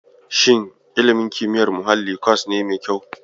Shin ilimin kimiyyar muhalli kwas ne mai kyau?